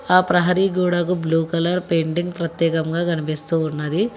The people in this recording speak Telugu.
ఆ ప్రహరీ గోడకు బ్లూ కలర్ పెయింటింగ్ ప్రత్యేకంగా కనిపిస్తూ ఉన్నది.